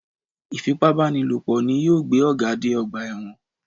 Ìfipábánilòpọ̀ ni yóò gbé Ọ̀gá dé ọgbà ẹ̀wọ̀n